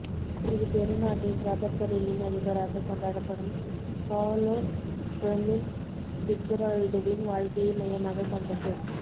இது பெருநாட்டின் ரப்பர் தொழிலின் அதிபராக கொண்டாப்படும் கார்லோஸ் பெர்மின் பிட்ஜெரால்டுவின் வாழ்க்கையை மையமாகக் கொண்டது